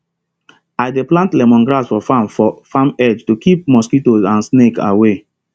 i dey plant lemongrass for farm for farm edge to keep mosquito and snake away